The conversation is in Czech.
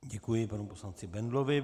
Děkuji panu poslanci Bendlovi.